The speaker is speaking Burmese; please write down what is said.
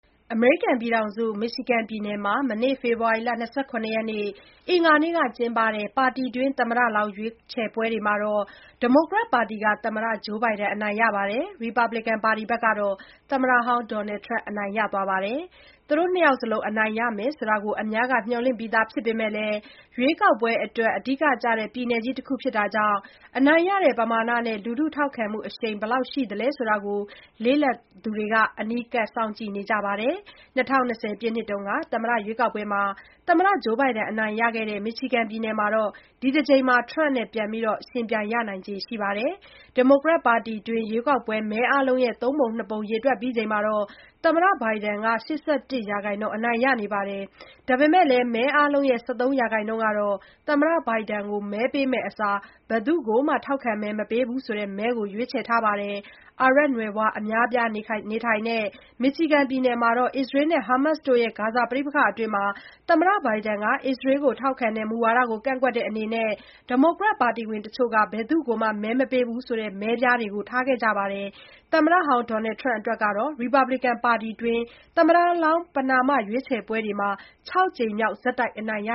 အမေရိကန်ပြည်ထောင်စု Michigan ပြည်နယ်မှာ မနေ့ ဖေဖော်ဝါရီ ၂၇ ရက်နေ့က ကျင်းပတဲ့ ပါတီတွင်း သမ္မတလောင်း ရွေးပွဲတွေမှာ ဒီမိုကရက်ပါတီက သမ္မတ Joe Biden အနိုင်ရပြီး ရီပတ်ဘလစ်ကန် ပါတီက သမ္မတဟောင်း Donald Trump အနိုင်ရသွားပါတယ်။ သူတို့ နှစ်ယောက်စလုံး အနိုင်ရမယ်ဆိုတာကို အများက မျှော်လင့်ပြီးသား ဖြစ်ပေမဲ့လည်း ရွေးကောက်ပွဲအတွက် အဓိက ကျတဲ့ ပြည်နယ်ကြီး တခု ဖြစ်တာကြောင့် အနိုင်ရတဲ့ ပမာဏနဲ့ လူထုထောက်ခံမှုအရှိန် ဘယ်လောက်ရှိသလဲဆိုတာကို လေ့လာသူတွေ အနီးကပ် စောင့်ကြည့်နေကြပါတယ်။ ၂၀၂၀ ပြည့်နှစ်က သမ္မတရွေးကောက်ပွဲမှာ သမ္မတ Biden အနိုင်ရခဲ့တဲ့ Michigan ပြည်နယ်မှာ ဒီတကြိမ်လည်း Trump နဲ့ ပြန်လည် ပြန်ယှဉ်ပြိုင်ရနိုင်ခြေ ရှိနေပါတယ်။ ဒီမိုကရက်ပါတီတွင်း ရွေးကောက်ပွဲ မဲအားလုံးရဲ့ သုံးပုံနှစ်ပုံ ရေတွက်ပြီးချိန်မှာ သမ္မတ Biden က ၈၁ ရာခိုင်နှုန်း အနိုင်ရခဲ့ပါတယ်။ ဒါပေမဲ့လည်း မဲအားလုံးရဲ့ ၁၃ ရာခိုင်နှုန်းကတော့ သမ္မတ Biden ကို မဲပေးမယ့်အစား "ဘယ်သူ့ကိုမှ ထောက်ခံမဲ မပေးဘူး" ဆိုတဲ့မဲကို ရွေးချယ် ပေးခဲ့ကြပါတယ်။အာရပ်နွယ်ဖွား အများအပြားနေထိုင်တဲ့ Michigan ပြည်နယ်မှာ အစ္စရေးနဲ့ ဟာမတ်စ်တို့ရဲ့ ဂါဇာပဋိပက္ခအတွင်း သမ္မတ Biden က အစ္စရေးကို ထောက်ခံတဲ့ မူဝါဒကို ကန့်ကွက်တဲ့အနေနဲ့ ဒီမိုကရက်ပါတီဝင်တချို့က "ဘယ်သူ့ကိုမှ မဲမပေးဘူး" ဆိုတဲ့ မဲပြားတွေကို ထားခဲ့ကြပါတယ်။ သမ္မတဟောင်း Donald Trump အတွက်တော့ ရီပတ်ဘလစ်ကန် ပါတီတွင်း သမ္မတလောင်း ပဏာမ ရွေးပွဲတွေမှာ ခြောက်ကြိမ်မြောက် ဆက်တိုက် အနိုင်ရ